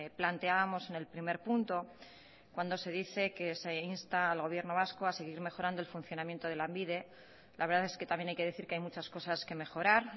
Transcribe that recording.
planteábamos en el primer punto cuando se dice que se insta al gobierno vasco a seguir mejorando el funcionamiento de lanbide la verdad es que también hay que decir que hay muchas cosas que mejorar